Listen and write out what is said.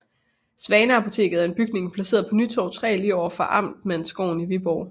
Svaneapoteket er en bygning placeret på Nytorv 3 lige overfor Amtmandsgården i Viborg